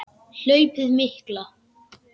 Hlaupið mikla